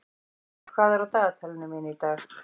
Hlynur, hvað er á dagatalinu mínu í dag?